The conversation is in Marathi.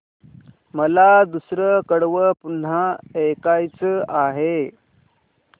मला दुसरं कडवं पुन्हा ऐकायचं आहे